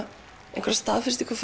einhverja staðfestingu